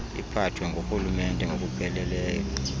iphathwe ngurhulumente ngokupheleleyo